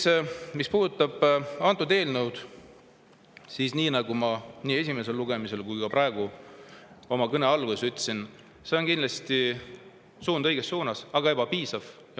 Nüüd, mis puudutab antud eelnõud, siis nii, nagu ma nii esimesel lugemisel kui ka praegu oma kõne alguses ütlesin, on see kindlasti suund õiges suunas, aga on ebapiisav.